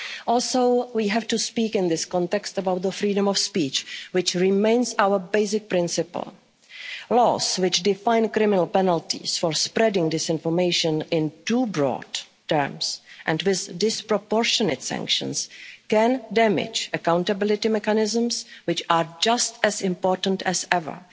Member States. Also, we have to speak in this context about the freedom of speech, which remains our basic principle. Laws which define criminal penalties for spreading disinformation in too broad terms, and with disproportionate sanctions, can damage accountability mechanisms, which are just as important